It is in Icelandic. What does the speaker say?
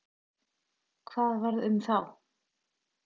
Hvað varð um þá?